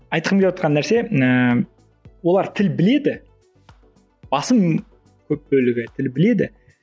айтқым келівотқан нәрсе ііі олар тіл біледі басым көп бөлігі тіл біледі